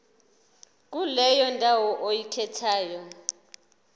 kuleyo ndawo oyikhethayo